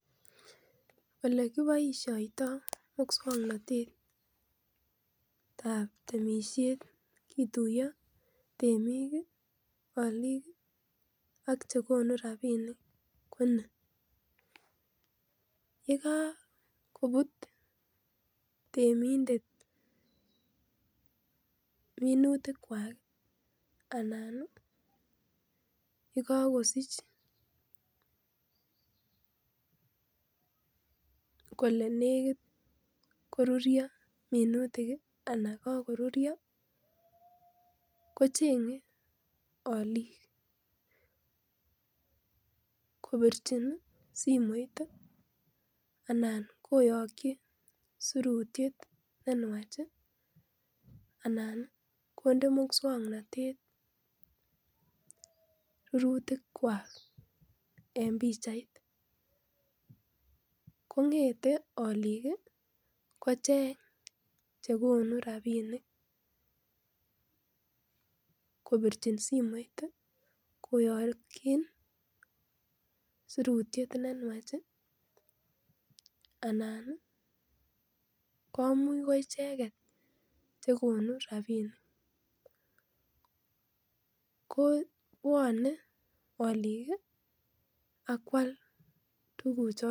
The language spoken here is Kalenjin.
Olekiboisioto muswoknotetab temisiet kituiyo temik ,olik ak chegonu rapinik ko ni yekakobut temindet minutwak anan yekokosich kole nekit korurio minutik anan kokorurio kochengee aliik kobirchin simoit ii ana koyokyi surutiet nenwach anan ii kondee muswoknotet rurutikwak en pichait kon'ete aalik kocheng chekonu rapinik kobirchin simoit ii koyokyin surutiet nenwach ii anan ii komuch ko icheket chekonu rapinik ko bwonee aalik akwal tuguchoton.